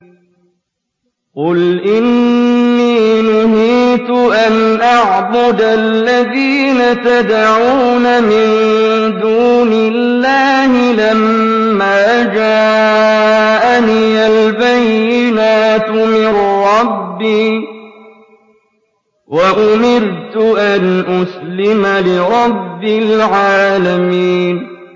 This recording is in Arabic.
۞ قُلْ إِنِّي نُهِيتُ أَنْ أَعْبُدَ الَّذِينَ تَدْعُونَ مِن دُونِ اللَّهِ لَمَّا جَاءَنِيَ الْبَيِّنَاتُ مِن رَّبِّي وَأُمِرْتُ أَنْ أُسْلِمَ لِرَبِّ الْعَالَمِينَ